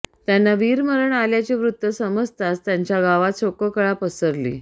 त्यांना वीरमरण आल्याचे वृत्त समजताच त्यांच्या गावांत शोककळा पसरली